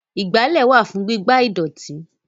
Ìgbálẹ́ wà fún gígbá ìdọ̀tí